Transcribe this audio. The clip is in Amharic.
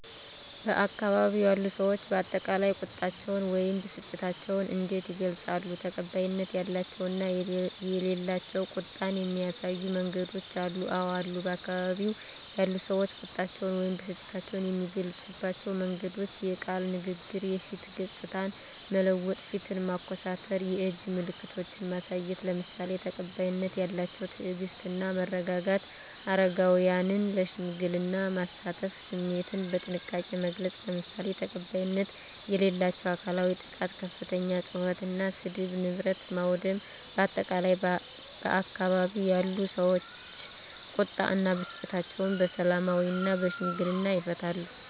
በአካባቢው ያሉ ሰዎች በአጠቃላይ ቁጣቸውን ወይም ብስጭታቸውን እንዴት ይገልጻሉ? ተቀባይነት ያላቸው እና የሌላቸው ቁጣን የሚያሳዩ መንገዶች አሉ? *አወ አሉ፦ በአካባቢው ያሉ ሰዎች ቁጣቸውን ወይም ብስጭታቸውን የሚገልጹባቸው መንገዶች፦ * የቃል ንግግር *የፊት ገጽታን መለወጥ (ፊትን ማኮሳተር)፣ *የእጅ ምልክቶችን ማሳየት፣ **ለምሳሌ፦ ተቀባይነት ያላቸው * ትዕግስት እና መረጋጋት: * አረጋውያንን ለሽምግልና ማሳተፍ።: * ስሜትን በጥንቃቄ መግለጽ: **ለምሳሌ፦ ተቀባይነት የሌላቸው * አካላዊ ጥቃት * ከፍተኛ ጩኸት እና ስድብ: * ንብረት ማውደም: በአጠቃላይ፣ ባካባቢው ያሉ ሰዎች ቁጣ እና ብስጭታቸውን በሰላማዊና በሽምግልና ይፈታሉ።